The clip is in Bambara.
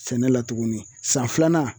Sɛnɛ la tuguni san filanan